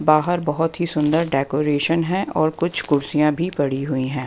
बाहर बहोत ही सुंदर डेकोरेशन है और कुछ कुर्सियां पड़ी हुई है।